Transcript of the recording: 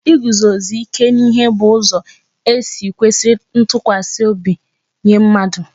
Iguzosi ike n'ihe bu ụzọ e si e kwesiri ntụkwasị obi nye mmadụ